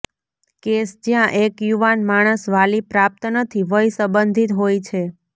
case જ્યાં એક યુવાન માણસ વાલી પ્રાપ્ત નથી વય સંબંધિત હોય છે